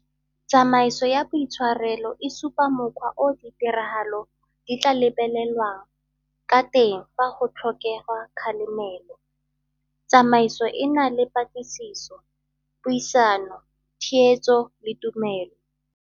Tsamaiso ya boitshwarelo e supa mokgwa o ditiragalo di tla lebelelwang ka teng fa go tlhokegwa kgalemelo. Tsamaiso e na le patlisiso, puisano, theetso letumelo.